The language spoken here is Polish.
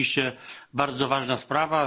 rzeczywiście bardzo ważna sprawa.